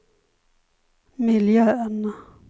miljön